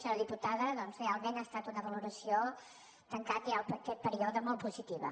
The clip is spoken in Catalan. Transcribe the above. senyora diputada doncs realment ha estat una valoració tancat ja aquest perío de molt positiva